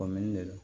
de do